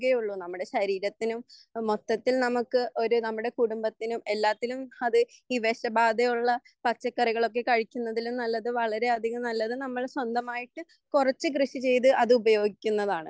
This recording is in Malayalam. നമ്മുടെ ശരീരത്തിനും മൊത്തത്തിൽ നമുക് ഒരു കുടുംബത്തിനും എല്ലാത്തിലും അത് ഈ വിഷബാധയുള്ള പച്ചക്കറികളൊക്കെ കഴിക്കുന്നതിലും നല്ലതു വളരെയധികം നല്ലത് നമ്മൾ സ്വന്തമായിട്ട് കുറച്ചു കൃഷി ചെയ്‌ത്‌ അത് ഉപയോഗിക്കുന്നതാണ്